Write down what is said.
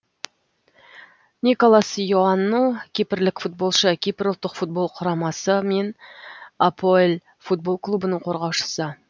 николас иоанну кипрлік футболшы кипр ұлттық футбол құрамасы мен апоэл футбол клубының қорғаушысы